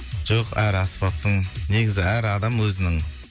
жоқ әр аспаптың негізі әр адам өзінің